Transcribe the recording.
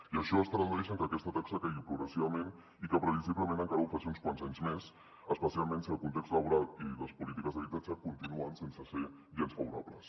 i això es tradueix en que aquesta taxa caigui progressivament i que previsiblement encara ho faci uns quants anys més especialment si el context laboral i les polítiques d’habitatge continuen sense ser gens favorables